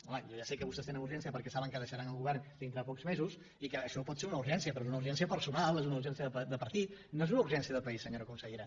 home jo ja sé que vostès tenen urgència perquè saben que deixaran el govern dintre de pocs mesos i que això pot ser una urgència però és una urgència personal és una urgència de partit no és una urgència de país senyora consellera